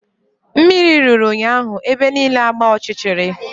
Mmiri ruru ụnyaahụ ebe niile agbaa ọchịchịrị